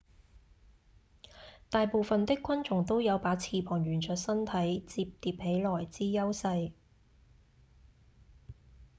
大部分的昆蟲都有把翅膀沿著身體摺疊起來之優勢